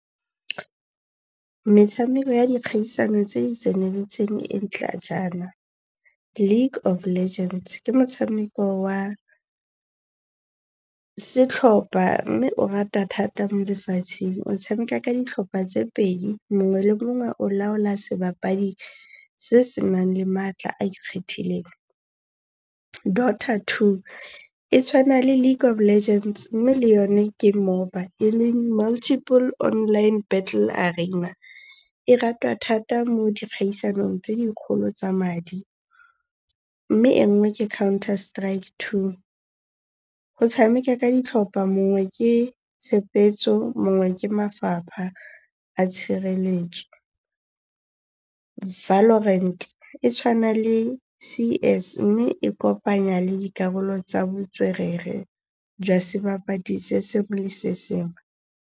Metshameko ya dikgaisano tse di tseneletseng e ntla jaana, League of Legends, ke motshameko wa setlhopha mme o rata thata mo lefatsheng. O tshameka ka ditlhopha tse pedi. Mongwe le mongwe o laola sebapadi se se nang le maatla a ikgethileng. Dota 2, e tshwana le League of Legends mme le yone ke MOBA e leng Multiple Online Battle Arena. E ratwa thata mo dikgaisanong tse dikgolo tsa madi. Mme e nngwe ke Counter Strike 2. Go tshameka ka ditlhopha mongwe ke tshepetso, mongwe ke mafapha a tshireletso. Valorant, e tshwana le C_S mme e kopanya le dikarolo tsa botswerere jwa sebapadi se sengwe le sengwe.